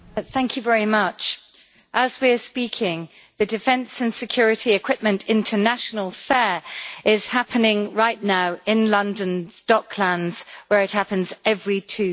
Madam President, as we are speaking, the Defence and Security Equipment International Fair is happening right now in London's Docklands where it happens every two years.